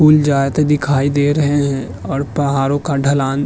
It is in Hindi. दिखाई दे रहे हैं और पहाड़ों का ढलान --